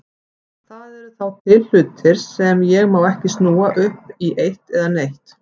Það eru þá til hlutir sem ég má ekki snúa upp í eitt eða neitt.